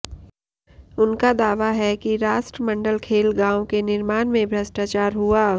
उनका दावा है कि राष्ट्रमंडल खेल गांव के निर्माण में भ्रष्टाचार हुआ